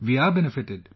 We are benefited